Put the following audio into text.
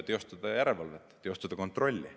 Või vahet ei ole, milliste erakondade tegevuse üle.